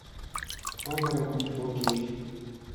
оборотни фо кей